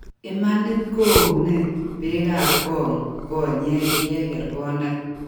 Imanit koo iune beekab koong konyeek yeker konda